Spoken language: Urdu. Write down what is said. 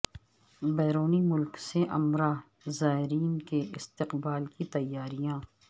بیرون ملک سے عمرہ زائرین کے استقبال کی تیاریاں